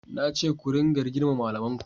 Na ce ku ringa girmama malamin ku!